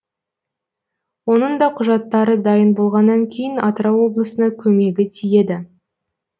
оның да құжаттары дайын болғанан кейін атырау облысына көмегі тиеді